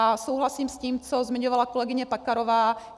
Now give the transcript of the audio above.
A souhlasím s tím, co zmiňovala kolegyně Pekarová.